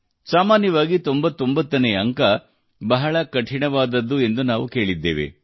ಸಾಮಾನ್ಯವಾಗಿ 99 ನೇ ಕಂತು ಬಹಳ ಕಠಿಣವಾದದ್ದು ಎಂದು ನಾವು ಕೇಳಿದ್ದೇವೆ